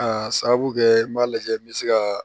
A sababu kɛ n b'a lajɛ n bɛ se ka